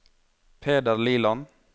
Peder Liland